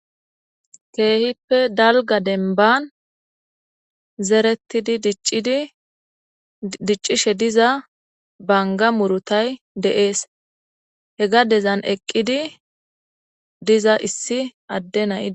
keehippe dalga denban zeretidi dicciddiccishe diza banga murutay deees he gadezan eqqidi diza issi adde nayi